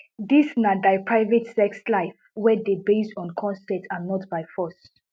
dis na dia private sex life wey dey based on consent and not by force